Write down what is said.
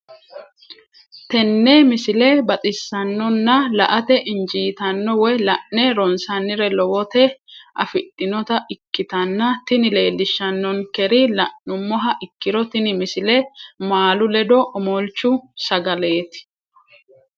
tenne misile baxisannonna la"ate injiitanno woy la'ne ronsannire lowote afidhinota ikkitanna tini leellishshannonkeri la'nummoha ikkiro tini misile maalu ledo omolchu sagaleeti.